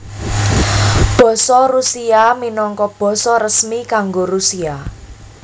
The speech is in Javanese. Basa Rusia minangka basa resmi kanggo Rusia